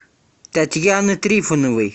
татьяны трифоновой